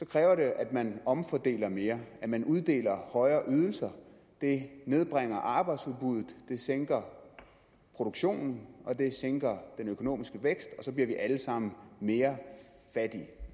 kræver det at man omfordeler mere og at man uddeler højere ydelser det nedbringer arbejdsudbuddet det sænker produktionen og det sænker den økonomiske vækst så bliver vi alle sammen mere fattige